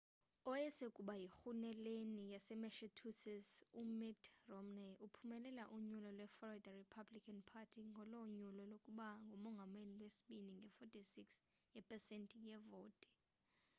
owayesakuba yirhuluneli yasemassachusetts umitt romney uphumelele unyulo lwe-florida republican party ngolo nyulo lokuba ngumongameli ngolwesibini nge-46 yepesenti yevoti